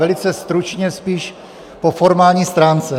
Velice stručně spíš po formální stránce.